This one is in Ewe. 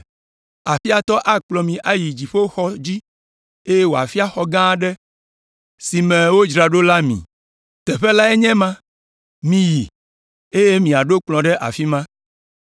Aƒea tɔ akplɔ mi ayi dziƒoxɔa dzi, eye wòafia xɔ gã aɖe si me wodzra ɖo la mi. Teƒe lae nye ema. Miyi, eye miaɖo kplɔ̃ ɖe afi ma.”